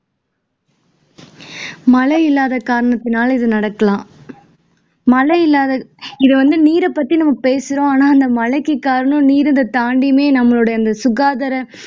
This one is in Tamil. மழை இல்லாத காரணத்தினால் இது நடக்கலாம் மழை இல்லாத இதை வந்து நீரைப்பத்தி நம்ம பேசுறோம் ஆனா மழைக்கு காரணம் நீர் இதை தாண்டியுமே நம்மளுடைய அந்த சுகாதார